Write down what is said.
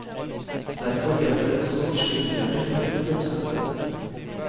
Derfor hjelper også norske myndigheter til med fremstøtet.